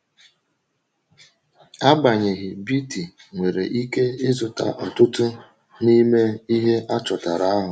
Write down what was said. Agbanyeghị, Beatty nwere ike ịzụta ọtụtụ n’ime ihe achọtara ahụ.